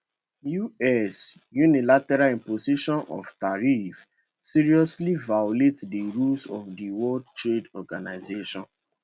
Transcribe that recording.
us unilateral imposition of tariffs seriously violate di rules of di world trade organization